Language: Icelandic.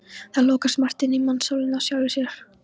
Það lokast margt inni í mannssálinni af sjálfu sér.